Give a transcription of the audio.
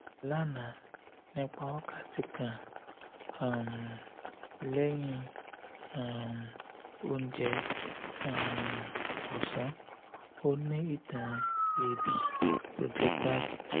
lana nipa wakati kan um lẹhin um ounje um ọsan o ni itan eebi projectile